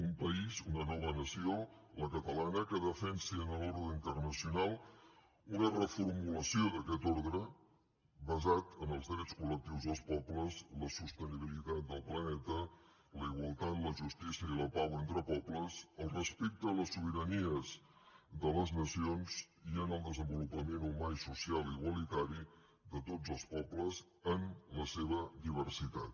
un país una nova nació la catalana que defensi en l’ordre internacional una reformulació d’aquest ordre basat en els drets col·lectius dels pobles la sostenibilitat del planeta la igualtat la justícia i la pau entre pobles el respecte a les sobiranies de les nacions i en el desenvolupament humà i social igualitari de tots els pobles en la seva diversitat